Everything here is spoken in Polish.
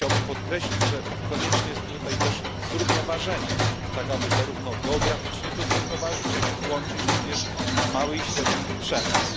Tu chciałbym podkreślić, że konieczne jest tutaj też zrównoważenie, tak aby zarówno geograficznie to zrównoważyć, jak i włączyć mały i średni przemysł.